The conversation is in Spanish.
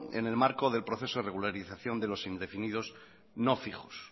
en el marco del proceso de regularización de los indefinidos no fijos